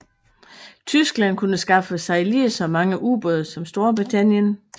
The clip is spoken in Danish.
Tyskland kunne skaffe sig lige så mange ubåde som Storbritannien